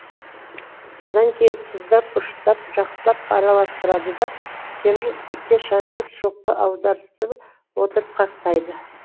содан кейін тұздап бұрыштап жақсылап араластырады да темір істікке шаншып шоққа аударыстыра отырып қақтайды